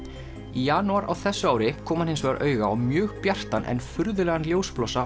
í janúar á þessu ári kom hann hins vegar auga á mjög bjartan en furðulegan